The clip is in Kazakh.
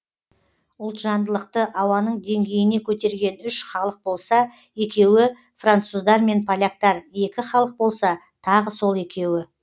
ұлтжандылықты ауаның деңгейіне көтерген үш халық болса екеуі француздар мен поляктар екі халық болса тағы сол екеуі